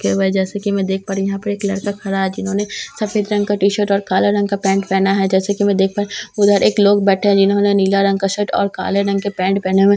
के हुए है जैसे की मैं देख पा रही हूँ यहाँ पर एक लड़का खड़ा है जिन्होंने सफ़ेद रंग का टीशर्ट और काला रंग का पैंट पहना है जैसा की मैं देख पा रही हूँ उधर एक लोग बैठे है जिन्होंने नीला रंग का शर्ट और काले रंग के पैंट पहने हुए है ।